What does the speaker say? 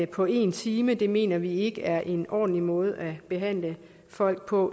på en time det mener vi ikke er en ordentlig måde måde at behandle folk på